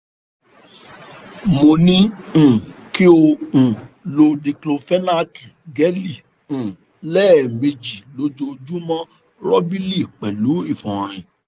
mo ní um kí o um lo díklófénákì gẹ́lì um lẹ́ẹ̀mejì lójoojúmọ́ rọ́bìlì pẹ̀lú ìfọ̀nrin